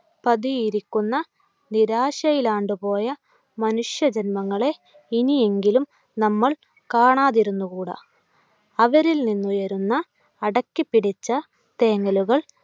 പതിയിരിക്കുന്ന നിരാശയിലാണ്ടുപോയ മനുഷ്യ ജന്മങ്ങളെ ഇനിയെങ്കിലും നമ്മൾ കാണാതിരുന്നുകൂടാ. അവരിൽ നിന്നുയരുന്ന അടക്കിപ്പിടിച്ച തേങ്ങലുകൾ